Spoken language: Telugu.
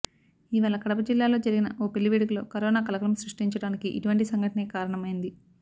ఇవాళ కడప జిల్లాలో జరిగిన ఓ పెళ్లి వేడుకలో కరోనా కలకలం సృష్టించడానికి ఇటువంటి సంఘటనే కారణమైంది